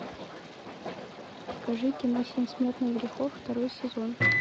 покажи кино семь смертных грехов второй сезон